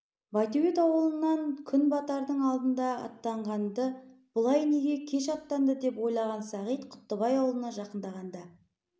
байтөбет ауылынан күн батардың алдында аттанғанды бұлай неге кеш аттанды деп ойлаған сағит құттыбай ауылына жақындағанда